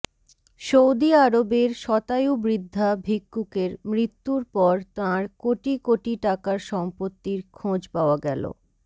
Saudi আরবের শতায়ু বৃদ্ধা ভিক্ষুকের মৃত্যুর পর তাঁর কোটি কোটি টাকার সম্পত্তির খোঁজ পাওয়া গেল